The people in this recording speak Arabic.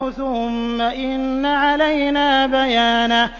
ثُمَّ إِنَّ عَلَيْنَا بَيَانَهُ